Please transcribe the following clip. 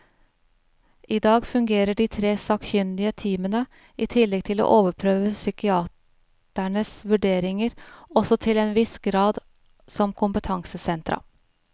I dag fungerer de tre sakkyndige teamene, i tillegg til å overprøve psykiaternes vurderinger, også til en viss grad som kompetansesentra.